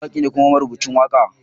Ni mawaki ne kuma marubucin waka.